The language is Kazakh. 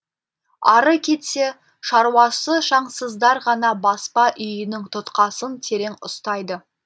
ары кетсе шаруасы шаңсыздар ғана баспа үйінің тұтқасын терең ұстайды